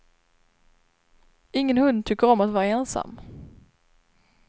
Ingen hund tycker om att vara ensam.